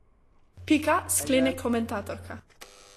Pika, sklene komentatorka.